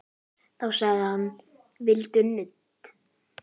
Þá sagði hann: Viltu nudd?